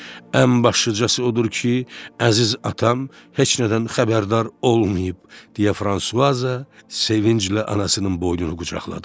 Ən başlıcası odur ki, əziz atam heç nədən xəbərdar olmayıb, deyə Fransuaza sevinclə anasının boynunu qucaqladı.